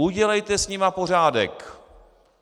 Udělejte s nimi pořádek!